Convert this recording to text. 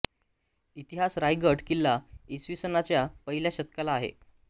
इतिहास राजगड किल्ला इसवी सनाच्या पहिल्या शतकातला आहे